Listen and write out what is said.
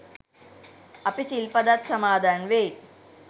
අපි සිල් පදත් සමාදන් වෙයි.